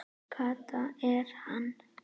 Kata er hann!